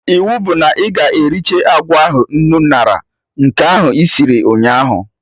Iwu bụ na ị ga-ericha agwa ahụ nnu ñara, nke ahụ isir ụnyaahụ